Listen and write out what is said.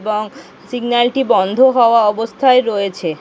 এবং সিগন্যালটি বন্দ হওয়া অবস্থায় রয়েছে।